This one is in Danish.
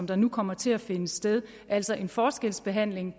der nu kommer til at finde sted altså en forskelsbehandling